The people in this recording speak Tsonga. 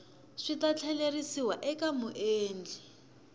swi ta tlheriseriwa eka muendli